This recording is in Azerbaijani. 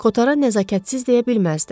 Kotara nəzakətsiz deyə bilməzdilər.